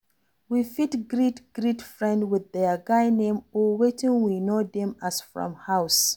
We fit greet greet friend with their guy name or wetin we know dem as from house